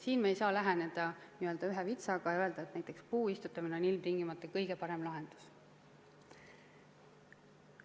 Siin me ei saa läheneda ühe vitsaga ja öelda, et näiteks puu istutamine on ilmtingimata kõige parem lahendus.